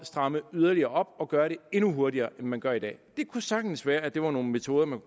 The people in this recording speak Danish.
stramme yderligere op og gøre det endnu hurtigere end man gør i dag det kunne sagtens være at det var nogle metoder man